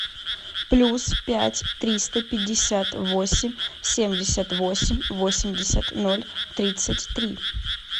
плюс пять триста пятьдесят восемь семьдесят восемь восемьдесят ноль тридцать три